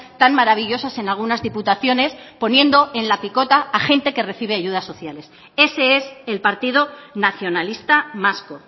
tan maravillosas en algunas diputaciones poniendo en la picota a gente que recibe ayudas sociales ese es el partido nacionalista vasco